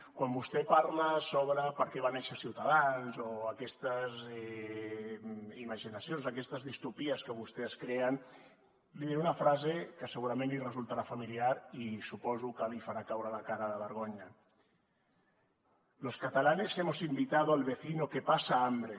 quan vostè parla sobre per què va néixer ciutadans o aquestes imaginacions aquestes distòpies que vostès creen li diré una frase que segurament li resultarà familiar i suposo que li farà caure la cara de vergonya los catalanes hemos invitado al vecino que pasa hambre